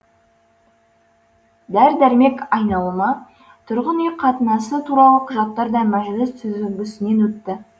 дәрі дәрмек айналымы тұрғын үй қатынасы туралы құжаттар да мәжіліс сүзігісінен өтті